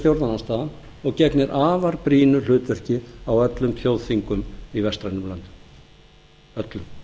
stjórnarandstaðan og gegnir afar brýnu hlutverki á öllum þjóðþingum í vestrænum löndum öllum það